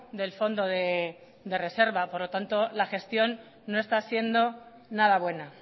del fondo de reserva por lo tanto la gestión no está siendo nada buena